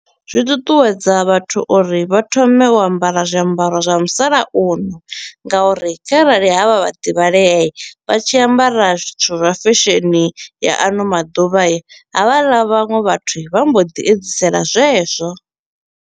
Zwi ṱuṱuwedza vhathu uri vha thome u ambara zwiambaro zwa musalauno nga uri kharali ha vha vhaḓivhalea vha tshi ambara zwithu zwa fesheni ya ano maḓuvha i, havhaḽa vhaṅwe vhathu vha mbo ḓi edzisela zwezwo.